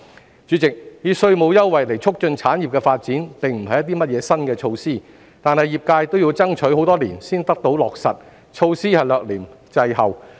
代理主席，以稅務優惠促進產業的發展並不是甚麼新措施，但業界要爭取多年才得以落實，措施略嫌滯後。